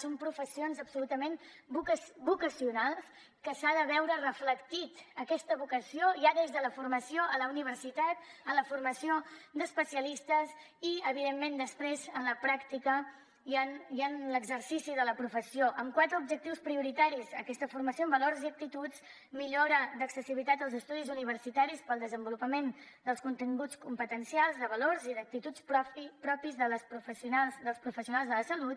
són professions absolutament vocacionals que s’ha de veure reflectida aquesta vocació ja des de la formació a la universitat en la formació d’especialistes i evidentment després en la pràctica i en l’exercici de la professió amb quatre objectius prioritaris aquesta formació en valors i actituds millora d’accessibilitat als estudis universitaris per al desenvolupament dels continguts competencials de valors i d’actituds propis dels professionals de la salut